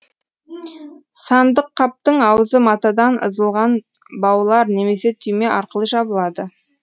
сандық қаптың аузы матадан ызылған баулар немесе түйме арқылы жабылады